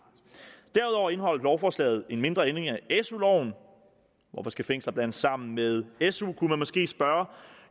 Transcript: derudover indeholder lovforslaget en mindre ændring af su loven hvorfor skal fængsler blandes sammen med su kunne man måske spørge